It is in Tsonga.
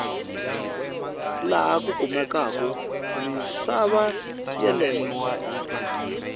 laha ku kumekaku misava yeleyo